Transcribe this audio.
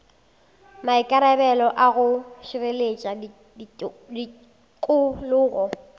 maikarabelo a go šireletša tikologo